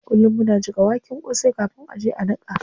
Kullum muna jiƙa waken kosai kafin a je a niƙa.